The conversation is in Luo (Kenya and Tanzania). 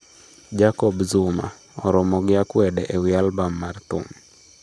Jacob Zuma: oromo gi akwede ewi albam mar thum